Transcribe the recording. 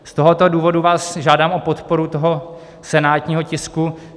Z tohoto důvodu vás žádám o podporu toho senátního tisku.